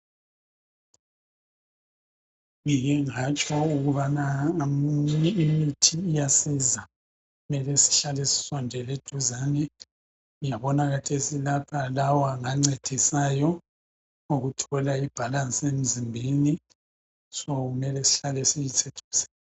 Ngike ngatsho ukubana imithi iyasiza. Mele sihlale sisondele eduzane. Ngiyabona kathesi lapha lawa ngancedisayo ukuthola ibhalansi emzimbeni, "so" kumele sihlale siyisebenzisa.